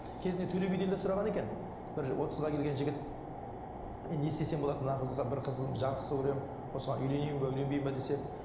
кезінде төле биден де сұраған екен бір отызға келген жігіт мен не істесем болады мына қызға бір қыз жақсы көремін осыған үйленейін бе үйленбеймін бе десе